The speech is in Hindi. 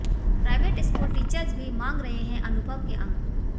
प्राइवेट स्कूल टीचर भी मांग रहे हैं अनुभव के अंक